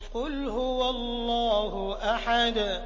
قُلْ هُوَ اللَّهُ أَحَدٌ